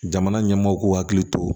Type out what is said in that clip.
Jamana ɲɛmɔɔw k'u hakili to